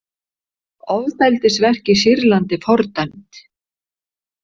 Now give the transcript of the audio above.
Ofbeldisverk í Sýrlandi fordæmd